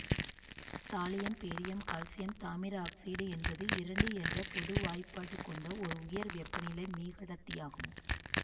thallium barium calcium தாமிர oxide என்பது இரண்டு என்ற பொது வாய்ப்பாட்டு கொண்ட ஒரு உயர் வெப்பநிலை மீகடத்தியாகும்